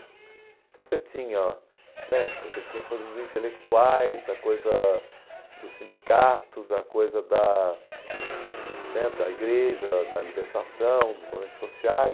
Então você tinha né você tinha a coisa dos intelectuais, a coisa dos sindicatos, a coisa da né da igreja, da libertação, dos movimentos sociais.